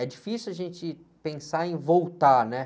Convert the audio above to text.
É difícil a gente pensar em voltar, né?